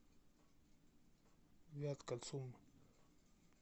вятка цум